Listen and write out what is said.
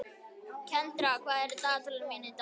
Kendra, hvað er á dagatalinu mínu í dag?